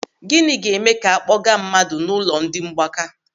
Gịnị ga-eme ka a kpọga mmadụ n'ụlọ ndị mgbaka?